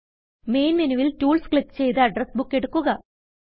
main മെനുവിൽ tools click ചെയ്ത് address book എടുക്കുക